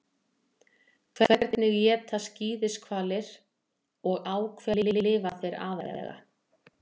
Hvernig éta skíðishvalir og á hverju lifa þeir aðallega?